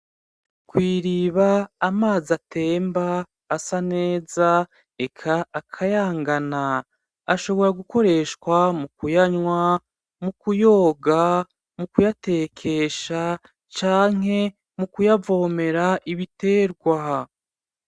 Kw’Iriba amazi atemba asa neza eka akayangana ashobora gukoreshwa mukuyanwa mukuyoga mukuyatekesha Canke mukuyavomera ibiterwa.